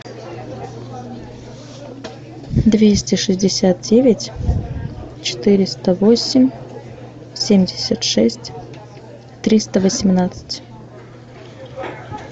двести шестьдесят девять четыреста восемь семьдесят шесть триста восемнадцать